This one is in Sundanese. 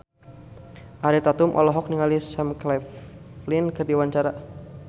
Ariel Tatum olohok ningali Sam Claflin keur diwawancara